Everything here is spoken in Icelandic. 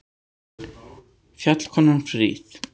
Fjallkonan fríð!